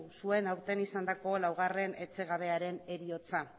zuen aurten izandako laugarren etxegabearen heriotza